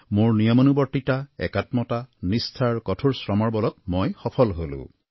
মোৰ নিয়মানুৱৰ্তিতা একাত্মতা নিষ্ঠা আৰু কঠোৰ শ্ৰমৰ বলত মই সফল হলো